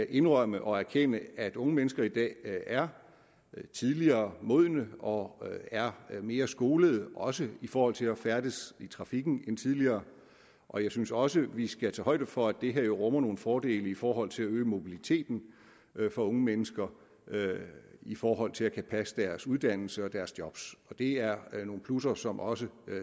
indrømme og erkende at unge mennesker i dag er tidligere modne og er mere skolede også i forhold til at færdes i trafikken end tidligere og jeg synes også at vi skal tage højde for at det her rummer nogle fordele i forhold til at øge mobiliteten for unge mennesker i forhold til at kunne passe deres uddannelse og deres job det er nogle plusser som også